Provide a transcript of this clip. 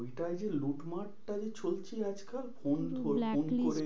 ওইটাই যে লুট মার্ টা যে চলছে আজকাল ফোন black list